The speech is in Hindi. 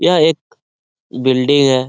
यह एक बिल्डिंग है ।